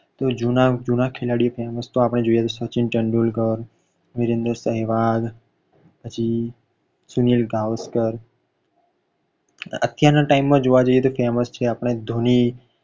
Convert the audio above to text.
તો જૂના જૂના ખેલાડી આપણે જોઈએ તો સચિન તેંદુલકર, વિરેન્દ્ર સેહવાગ પછી સુનીલ ગાવસ્કર અત્યાર ના time માં જોવા જઈએ તો famous છે આપણે ધોની.